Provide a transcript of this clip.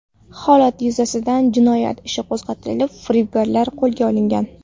Holat yuzasidan jinoyat ishi qo‘zg‘atilib, firibgarlar qo‘lga olingan.